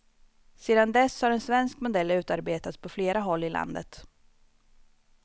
Sedan dess har en svensk modell utarbetats på flera håll i landet.